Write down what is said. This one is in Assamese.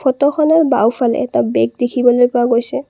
ফটো খনৰ বাওঁফালে এটা বেগ দেখিবলৈ পোৱা গৈছে।